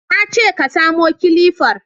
Na ce ka samo kilifar